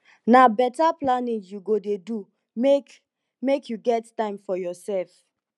na beta planning you go dey do make make you get time for yoursef